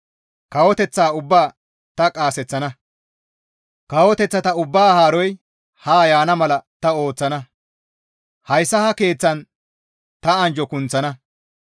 Kawoteththata ubbaa ta qaaseththana. Kawoteththata ubbaa haaroy ha yaana mala ta ooththana. Hayssa ha keeththan ta anjjo kunththana.